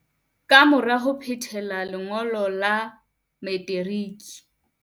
Kamora ho phethela lengo lo la materiki